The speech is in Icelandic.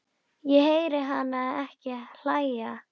Ég heyri hana ekki hlæja